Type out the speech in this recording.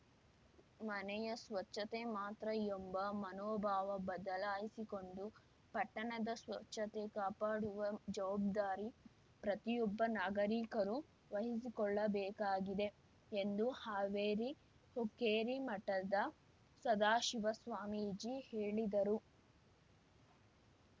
ಮನೆಯ ಸ್ವಚ್ಛತೆ ಮಾತ್ರ ಎಂಬ ಮನೋಭಾವ ಬದಲಾಯಿಸಿಕೊಂಡು ಪಟ್ಟಣದ ಸ್ವಚ್ಛತೆ ಕಾಪಾಡುವ ಜವಾಬ್ದಾರಿ ಪ್ರತಿಯೊಬ್ಬ ನಾಗರಿಕರು ವಹಿಸಿಕೊಳ್ಳಬೇಕಾಗಿದೆ ಎಂದು ಹಾವೇರಿ ಹುಕ್ಕೇರಿ ಮಠದ ಸದಾಶಿವ ಸ್ವಾಮೀಜಿ ಹೇಳಿದರು